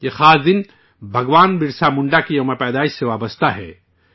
یہ خاص دن بھگوان برسا منڈا کی جنم جینتی سے جڑا ہوا ہے